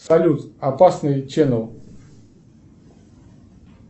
салют опасный ченнел